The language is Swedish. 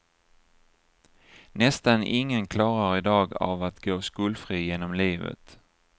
Nästan ingen klarar i dag av att gå skuldfri genom livet.